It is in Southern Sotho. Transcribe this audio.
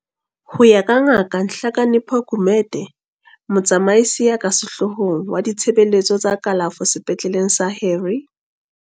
Ho ya ka Ngaka Nhlakanipho Gumede, Motsamaisi ya ka Sehloohong wa Ditshebeletso tsa Kalafo Sepetleleng sa Harry.